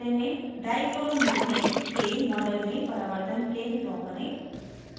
dichloromethane के model में परावर्तन प्लेन ड्रा करें